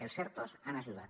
els ertos han ajudat